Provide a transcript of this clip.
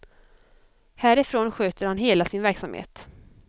Härifrån sköter han hela sin verksamhet.